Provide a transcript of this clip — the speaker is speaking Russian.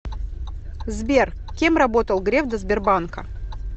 сбер кем работал греф до сбербанка